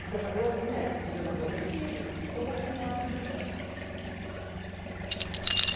Porque eu falei, o médico disse que eu não vou ter filho, eu vou criar o filho dela.